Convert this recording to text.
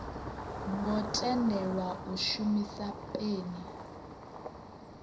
ngo tendelwa u shumisa peni